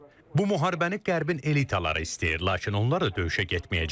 Bu müharibəni qərbin elitaları istəyir, lakin onlar da döyüşə getməyəcəklər.